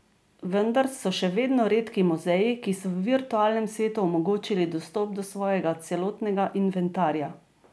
Vendar so še vedno redki muzeji, ki so v virtualnem svetu omogočili dostop do svojega celotnega inventarja.